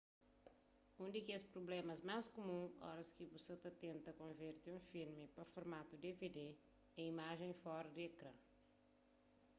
un di kes prublémas más kumun oras ki bu sa ta tenta konverte un filmi pa formatu dvd é imajen fora di ekran